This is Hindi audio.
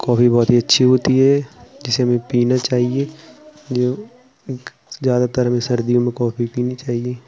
कॉफ़ी बहोत ही अच्छी होती है जिसे हमें पीना चाहिये जो ज्यादातर हमें सर्दियों में कॉफ़ी पीनी चाहिये।